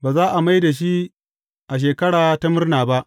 Ba za a mai da shi a Shekara ta Murna ba.